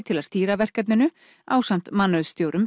til að stýra verkefninu ásamt